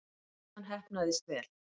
Veislan heppnaðist vel.